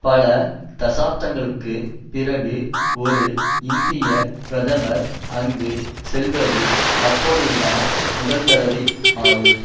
பல தசாப்தங்களுக்குப் பிறகு ஒரு இந்திய பிரதமர் அங்கு செல்லுவது அப்பொழுதுதான் முதல்தடவை ஆகும்